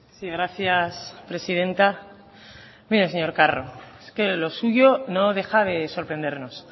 sí gracias presidenta mire señor carro es que lo suyo no deja de sorprendernos